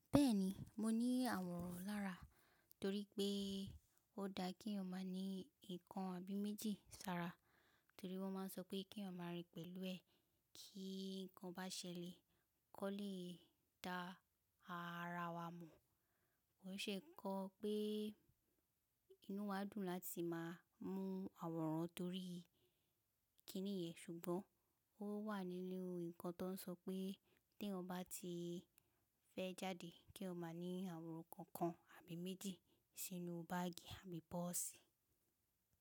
Bẹ́ẹ̀ni, mo ní àwòrán lára torí pé ó da kí eyan máa ní ìkan àbí méjì sára torí wọ́n máa n sọ pé kí eyan máa rìn pẹ̀lú ẹ tí nǹkan bá ṣẹlẹ̀ kó lè dá ara wa mọ̀. Ko n se nnkan pé inú wá dùn láti máa mú àwòrán torí kí nìyan ṣùgbọ́n ó wà nínu nǹkan tó n sọ pé tí eyan bá ti fẹ́ jáde kí eyan má ní àwòrán kookan àbí méjì sínú báàgì àbí pọ́ọ̀sì.